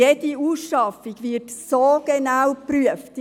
Jede Ausschaffung wird dermassen genau geprüft wird.